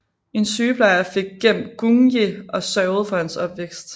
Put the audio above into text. En sygeplejer fik gemt Gung Ye og sørgede for hans opvækst